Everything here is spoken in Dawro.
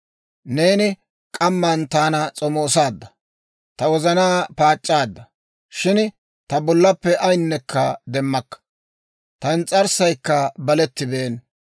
Neeni k'amman taana s'omoosaadda; ta wozanaa paac'c'aadda. Shin ta bollappe ayinekka demmakka. Ta ins's'arssaykka balettibeena.